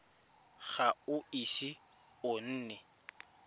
ga o ise o nne